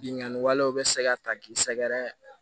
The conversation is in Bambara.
Binganni walew bɛ se ka ta k'i sɛgɛrɛ